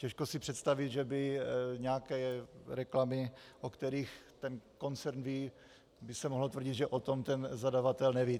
Těžko si představit, že by nějaké reklamy, o kterých ten koncern ví, by se mohlo tvrdit, že o tom ten zadavatel neví.